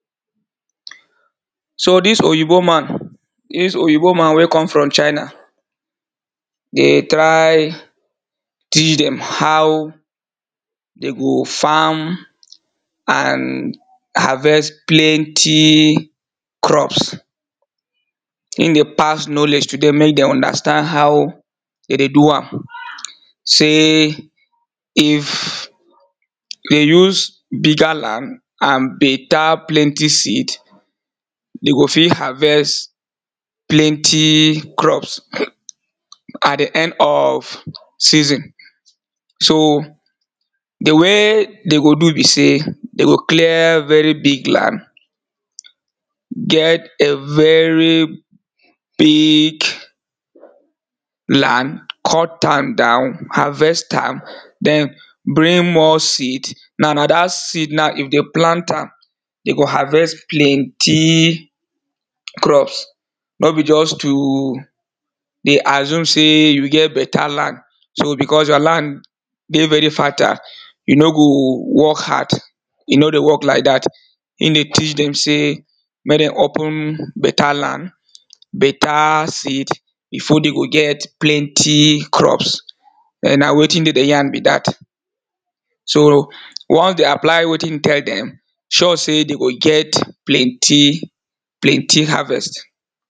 So dis oyibo man, dis oyibo man wey come from China dey try teach dem how dem go farm and harvest plenty crops Im dey pass knowledge to dem make dem understand how dem dey do am sey if dey use bigger land and better plenty seed dem go fit harvest plenty crops at di end of season. So di way dem go do be sey, dem go clear very big land get a very big land, cut am down, harvest am, then bring more seed, now na dat seed now if dem plant am dem go harvest plenty crops, no be just to dey assume sey you get better land so becos your land dey very fertile, you no go work hard, you no dey work like dat Im dey teach dem sey make dem open better land better seed, before dem go get plenty crops[um]na wetin im dey yarn be dat. So once dem apply wetin im tell dem sure sey dem go get plenty plenty harvest